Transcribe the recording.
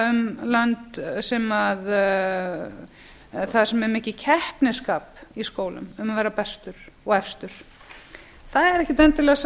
um lönd sem er mikið keppnisskap í skólum um að vera bestur og efstur það er ekkert endilega sá